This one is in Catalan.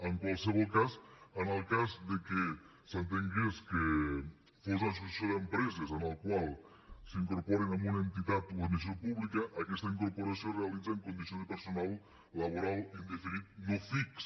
en qualsevol cas en el cas de que s’entengués que fos una associació d’empreses en la qual s’incorporen en una entitat o administració pública aquesta incorporació es realitza en condicions de personal laboral indefinit no fix